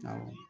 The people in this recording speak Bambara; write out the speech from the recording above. Awɔ